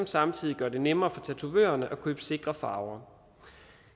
samtidig gøre det nemmere for tatovørerne at købe sikre farver